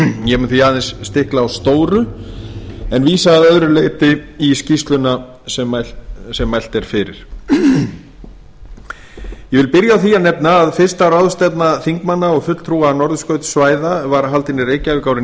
ég mun því aðeins stikla á stóru en vísa að öðru leyti í skýrsluna sem mælt er fyrir ég vil byrja á því að nefna að fastan ráðstefna þingmanna og fulltrúa norðurskautssvæða var haldin í reykjavík árið